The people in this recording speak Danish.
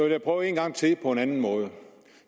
jeg prøve en gang til på en anden måde